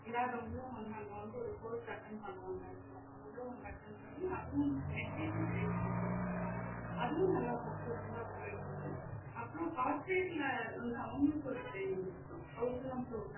இல்லாதவங்கலும் வந்து அங்க வந்து ஒரு course attend பண்ணுவாங்க actual ல அவங்களும் வந்து attend பண்ணி அதுவும் meditation based தா அதுவும் நல்லா sucessesfull ல போயிட்டு இருக்கு அப்புறம் corporate ல வந்து அவங்களுக்கும் ஒரு training குடுக்குறோம்